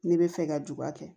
Ne bɛ fɛ ka juba kɛ